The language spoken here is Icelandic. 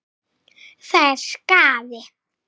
Það er skaði.